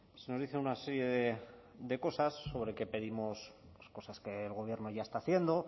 se nos dice una serie de cosas sobre que pedimos cosas que el gobierno ya está haciendo